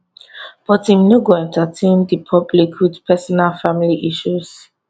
but im no go entertain di public wit personal family issues